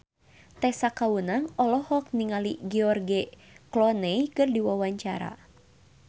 Tessa Kaunang olohok ningali George Clooney keur diwawancara